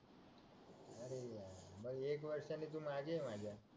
मग एक वर्षाने तू मागे आहे माझ्या